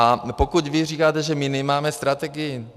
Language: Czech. A pokud vy říkáte, že my nemáme strategii.